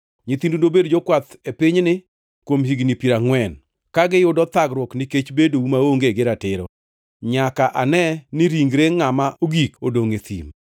Nyithindu nobed jokwath e pinyni kuom higni piero angʼwen, ka giyudo thagruok nikech bedou maonge gi ratiro, nyaka ane ni ringre ngʼama ogik odongʼ e thim.